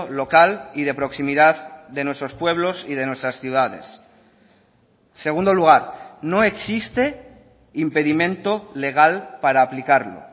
local y de proximidad de nuestros pueblos y de nuestras ciudades en segundo lugar no existe impedimento legal para aplicarlo